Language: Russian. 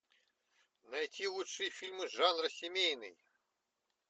найти лучшие фильмы жанра семейный